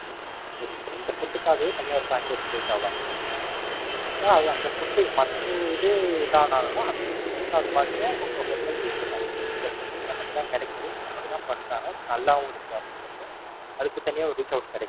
அந்த food க்காகவே தனியா ஒரு Fanbase create ஆவாங்க இந்த Food க்காவ ஆவாங்க. So அந்த Food மற்ற இது எதானாலும் அந்த Food க்காகவே உங்க Hotel reach out ஆகும். இந்த Food இங்க மட்டும் தான் கிடைக்குது. இவங்க மட்டும் தான் பண்றாங்க. நல்லாவும் இருக்கு. அப்படியின்றப்ப, அதுக்கு தனியாகவே reach out கிடைக்கும்.